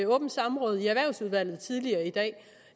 åbent samråd tidligere i dag i